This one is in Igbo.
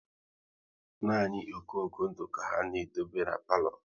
Nani okoko ndụ ka ha na-edobe n'palo